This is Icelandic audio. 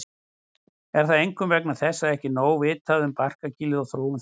Er það einkum vegna þess að ekki er nóg vitað um barkakýlið og þróun þess.